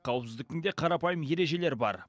қауіпсіздіктің де қарапайым ережелері бар